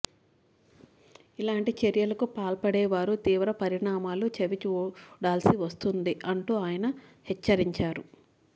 ఇలాంటి చర్యలకు పాల్పడేవారు తీవ్ర పరిణామాలు చవి చూడాల్సి వస్తుంది అంటూ ఆయన హెచ్చరించారు